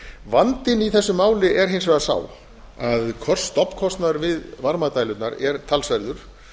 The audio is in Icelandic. vandinn í þessu máli er hins vegar sá að stofnkostnaður við varmadælurnar er talsverður